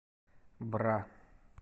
бра